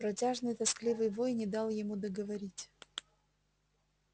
протяжный тоскливый вой не дал ему договорить